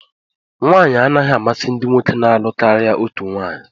Nwanyị anaghị amasị ndị nwoke na-alụ karịa otu nwanyị